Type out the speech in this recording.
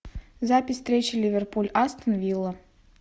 запись встречи ливерпуль астон вилла